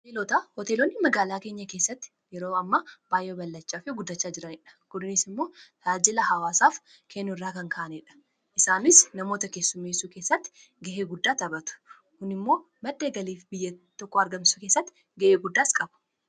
Hoteelota hooteelonni magaalaa keenya keessatti yeroo amma baay'ee ballachaa fi guddachaa jiraniidha kunniinis immoo ta'ajila hawaasaaf kennu irraa kan ka'aneedha isaanis namoota kessumeesuu keessatti ga'ee guddaa tabatu kuni immoo maddeen galiif biyya tokko argamsisuu keessatti ga'ee guddaa qabu.